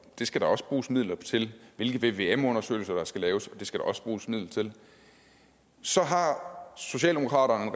det skal der også bruges midler til hvilke vvm undersøgelser der skal laves og det skal der også bruges midler til så har socialdemokratiet